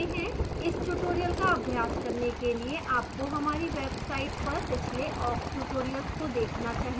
इस tutorial का अभ्यास करने के लिए आपको हमारी website पर पिछले awk tutorials को देखना चाहिए